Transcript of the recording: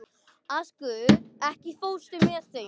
Askur, ekki fórstu með þeim?